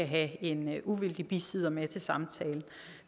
have en uvildig bisidder med til samtalen